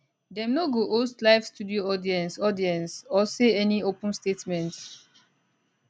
dem no go host live studio audience audience or say any open statements